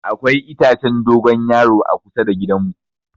Akwai itacen dogon yaro kusa da gidan mu.